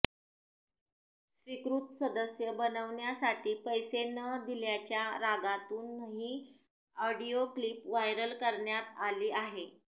स्वीकृत सदस्य बनविण्यासाठी पैसे न दिल्याच्या रागातून ही ऑडिओ क्लीप व्हायरल करण्यात आली आहे